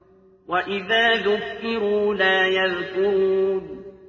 وَإِذَا ذُكِّرُوا لَا يَذْكُرُونَ